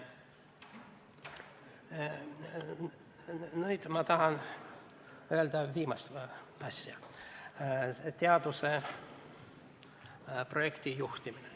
Nüüd ma tahan rääkida viimasest asjast: teaduse projektijuhtimine.